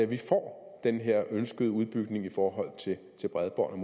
vi får den her ønskede udbygning i forhold til bredbåndet